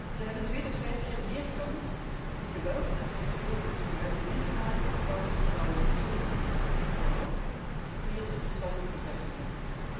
Zij hebben twee tot vijf keer meer kans om geweld en seksueel misbruik mee te maken dan vrouwen zonder handicap, vooral wanneer ze een verstandelijke beperking hebben.